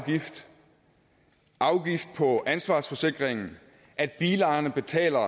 og afgift på ansvarsforsikringen at bilejerne betaler